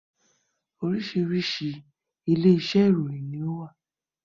Oríṣiríṣi ilé iṣẹ́ ìròyìn ni ó wà